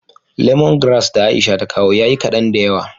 " lemongrass " da Aisha ta kawo ya yi kaɗan da yawa.